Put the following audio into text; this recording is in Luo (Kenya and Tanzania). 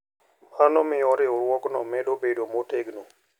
Mano miyo riwruogno medo bedo motegno.